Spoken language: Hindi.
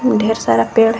ढेर सारा पेड़ है।